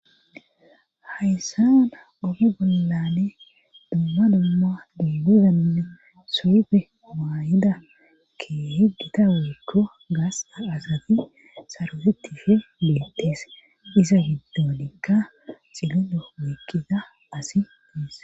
hayssa mana ogi bollane dumma dumma duimidanne suufe maayida ke heggita weekko gaas asati sarotetife biyettees isa giddoonikka xilido weikkiza asi tees